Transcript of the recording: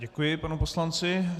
Děkuji panu poslanci.